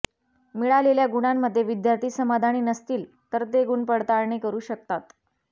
मिळालेल्या गुणांमध्ये विद्यार्थी समाधानी नसतील तर ते गुणपडताळणी करू शकतात